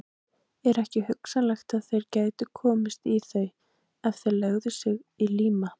Er ekki hugsanlegt, að þeir gætu komist í þau, ef þeir legðu sig í líma?